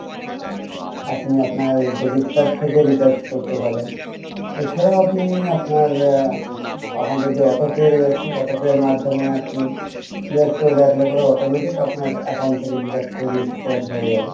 আপনি আপনার debit card থেকে recharge করতে পারেন এছাড়া আপনি আপনার এখন যে auto pay রয়েছে auto pay এর মাধ্যমে আপনি automatic আপনার account থেকে deduct হয়ে recharge হয়ে যাবে